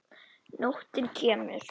Nóttin kemur.